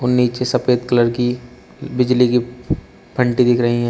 नीचे सफेद कलर की बिजली की फन्टी दिख रही है।